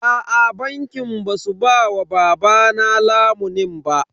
Aa bankin ba su ba wa babana lamunin ba.